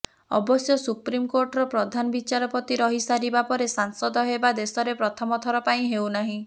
ଅବଶ୍ୟ ସୁପ୍ରିମକୋର୍ଟର ପ୍ରଧାନ ବିଚାରପତି ରହି ସାରିବା ପରେ ସାଂସଦ ହେବା ଦେଶରେ ପ୍ରଥମ ଥର ପାଇଁ ହେଉନାହିଁ